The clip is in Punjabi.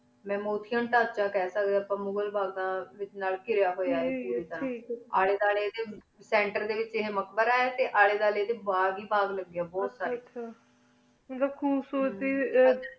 ਮੁਹ੍ਮੁਦ ਸ਼ਾ ਦਾ ਟਾਂਚ ਖ ਦਾ ਮੁਗ੍ਹਰ ਬਾਘ ਨਾਲ ਕਿਰੇਯਾ ਹੂਯ ਆਯ ਅਲੀ ਦੁਆਲ੍ਯ ਏਡੀ ਸੇੰਟਰ ਡੀ ਵੇਚ ਮਕਬਰਾ ਆਯ ਟੀ ਅਲੀ ਦੁਆਲ੍ਯ ਏਡੀ ਬਾਘ ਹੇ ਬਾਘ ਲਗਯਾ ਹੁਆ ਆਯ ਮਤਲਬ ਘੁਬ ਸੁਰਤਿ ਆਯ